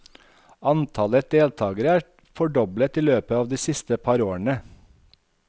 Antallet deltagere er fordoblet i løpet av de siste par årene.